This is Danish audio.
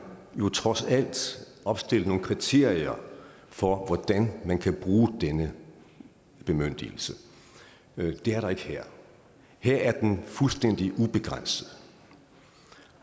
jo trods alt opstillet nogle kriterier for hvordan man kan bruge denne bemyndigelse det er der ikke her her er den fuldstændig ubegrænset